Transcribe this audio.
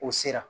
O sera